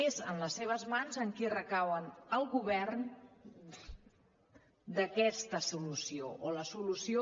és en les seves mans en qui recau el govern d’aquesta solució o la solució